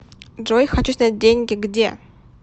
джой хочу снять деньги где